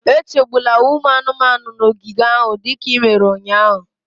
Echegbula ụmụ anụmanụ nọ n'ogige ahụ dịka i mere ụnyahụ